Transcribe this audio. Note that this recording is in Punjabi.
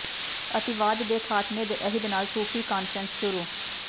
ਅਤਿਵਾਦ ਦੇ ਖ਼ਾਤਮੇ ਦੇ ਅਹਿਦ ਨਾਲ ਸੂਫ਼ੀ ਕਾਨਫ਼ਰੰਸ ਸ਼ੁਰੂ